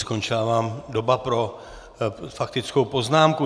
Skončila vám doba pro faktickou poznámku.